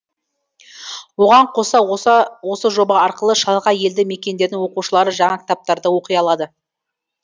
оған қоса осы жоба арқылы шалғай елді мекендердің оқушылары жаңа кітаптарды оқи алады